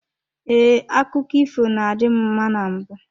Ee, akụkọ ifo na-adị m mma na mbụ.